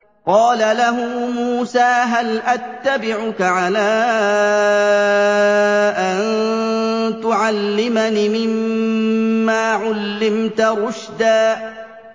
قَالَ لَهُ مُوسَىٰ هَلْ أَتَّبِعُكَ عَلَىٰ أَن تُعَلِّمَنِ مِمَّا عُلِّمْتَ رُشْدًا